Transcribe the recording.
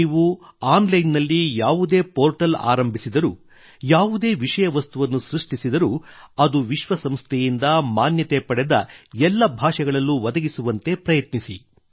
ನೀವು online ನಲ್ಲಿ ಯಾವುದೇ ಪೋರ್ಟಲ್ ಆರಂಭಿಸಿದರೂ ಯಾವುದೇ ವಿಷಯವಸ್ತುವನ್ನು ಸೃಷ್ಟಿಸಿದರೂ ಅದು ವಿಶ್ವ ಸಂಸ್ಥೆಯಿಂದ ಮಾನ್ಯತೆ ಪಡೆದ ಎಲ್ಲ ಭಾಷೆಗಳಲ್ಲು ಒದಗಿಸುವಂತೆ ಪ್ರಯತ್ನಿಸಿ